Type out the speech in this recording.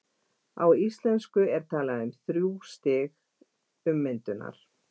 á íslensku er talað um þrjú stig „ummyndunar“